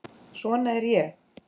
Svona er ég.